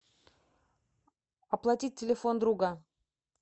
оплатить телефон друга